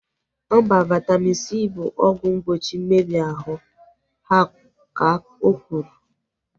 Mba, Vaitamin C bụ ọgwụ mgbochi mmebi ahụ, ka okwuru